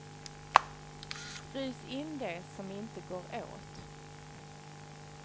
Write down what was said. Frys in det som inte går åt.